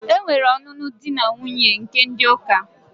Enwere ọnụnụ di na nwuńye nke ndi uka.